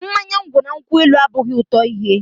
Mmanya ngwọ na nkwụ elu abụghị otu ihe.